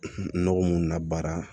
Nɔgɔ mun labaara